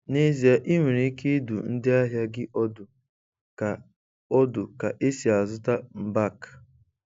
N'ezie, ị nwere ike ịdụ ndị ahịa gị ọdụ ka ọdụ ka esi azụta mbak.